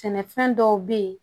Sɛnɛfɛn dɔw be ye